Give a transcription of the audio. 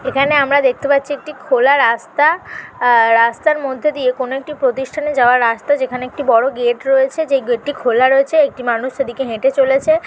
এখানে আমরা দেখতে পাচ্ছি একটি খোলার রাস্তা রাস্তার মধ্যে দিয়ে কোন একটি প্রতিষ্ঠানে যাওয়ার রাস্তা যেখানে একটি বড়ো গেট রয়েছে যে গেট -টি খোলা রয়েছে একটি মানুষের দিকে হেঁটে চলেছে।